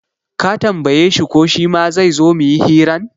Ka tambaye shi ko shima zaizo muyi hiran?